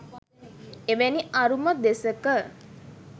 එවැනි අරුම දෙසක